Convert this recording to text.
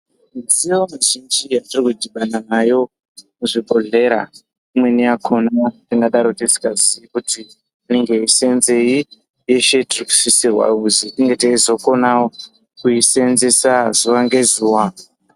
Mudziyo muzhinji yatiri kudhibana nayo muzvibhodhlera imweni yakhona tingadaro tisikazii kuti inenge yeisenzei tese tiri kusisirwa kuzi tinge teizokonawo kuisenzesa zuwa ngezuwa.